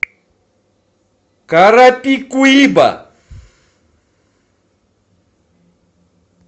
карапикуиба